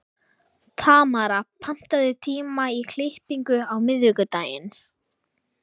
Tamara, pantaðu tíma í klippingu á miðvikudaginn.